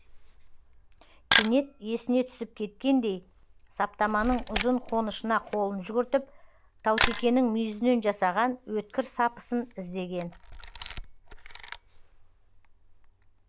кенет есіне түсіп кеткендей саптаманың ұзын қонышына қолын жүгіртіп таутекенің мүйізінен жасаған өткір сапысын іздеген